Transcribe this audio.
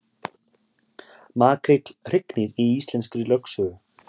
Makríll hrygnir í íslenskri lögsögu